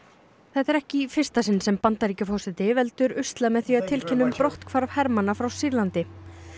þetta er ekki í fyrsta sinn sem Bandaríkjaforseti veldur usla með því að tilkynna um brotthvarf hermanna frá Sýrlandi